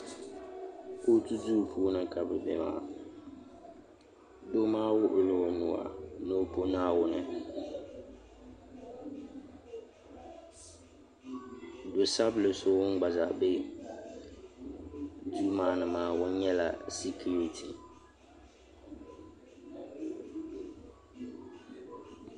kootu duu puuni ka bɛ be maa doo maa wuɣi la o nuu a ni o pɔ Naawuni do' sabinli so ŋun gba zaa be duu maa ni maa ŋun nyɛla sikiriti.